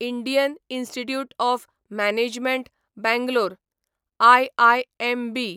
Indian Institute of Management Bangalore IIMB